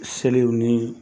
Selew ni